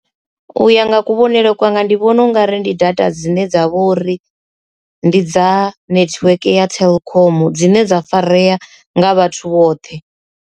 U ya nga kuvhonele kwanga ndi vhona u nga ri ndi data dzine dza vho uri ndi dza network ya telkom dzine dza farea nga vhathu vhoṱhe.